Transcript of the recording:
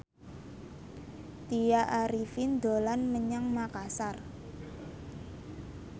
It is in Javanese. Tya Arifin dolan menyang Makasar